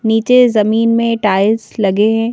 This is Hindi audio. नीचे जमीन में टाइल्स लगे हैं।